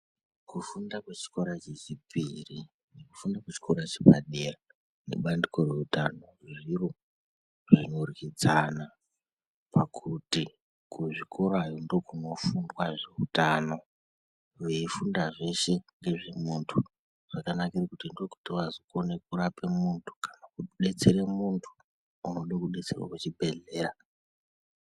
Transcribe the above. Kufunda kwechikora chechipiri, kufunda kwechikora chepadenga nebandiko reutano, zviro zvinoryidzana, pakuti kuzvikorayo ndokunofundwa zveutano, veifunda zveshe ngezvemunthu, zvakanakire kuti ndokuti vazokone kurape munthu kana kudetsere munthu unode kudetserwa kuchibhedhleya.